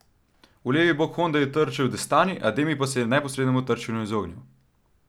V levi bok honde je trčil Destani, Ademi pa se je neposrednemu trčenju izognil.